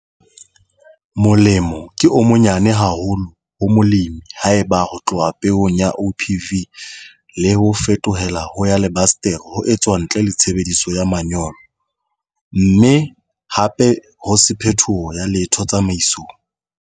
Molemo ke o monyane haholo ho molemi haeba ho tloha peong ya OPV le ho fetohela ho ya lebasetere ho etswa ntle le tshebediso ya manyolo, mme hape ho se phetoho ya letho tsamaisong.